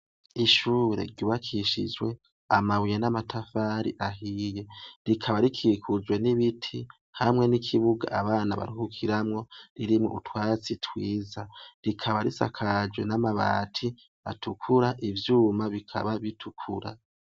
Ishure ryubakishijwe amabuye n'amatafari ahiye rikaba rikikujwe n'ibiti hamwe n'ikibuga abana baruhukiramwo ririmwe utwatsi twiza rikaba risakajwe n'amabati atukura ivyuma bikaba bitukura.